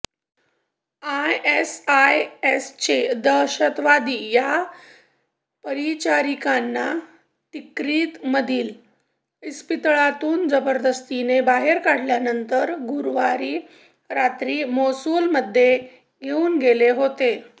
आयएसआयएसचे दहशतवादी या परिचारिकांना तिक्रीतमधील इस्पितळातून जबरदस्तीने बाहेर काढल्यानंतर गुरुवारी रात्री मोसुलमध्ये घेऊन गेले होते